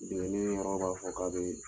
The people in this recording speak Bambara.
Dingɛnni yɔrɔ b'a fɔ ka be